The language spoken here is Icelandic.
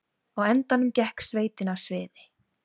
Á endanum gekk sveitin af sviði